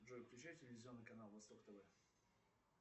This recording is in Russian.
джой включай телевизионный канал восток тв